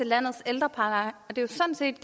landets ældrepleje det er sådan set